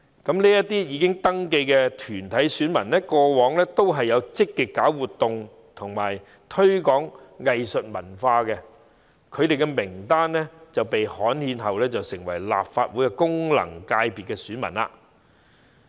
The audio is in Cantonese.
這些已登記的團體選民過往也有積極舉辦活動和推廣藝術文化，其名單經刊憲便成為立法會功能界別的選民。